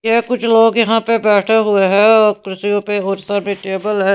ये कुछ लोग यहां पर बैठे हुए हैं और खुर्ची है और टेबल है.